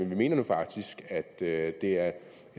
vi mener nu faktisk at det at det er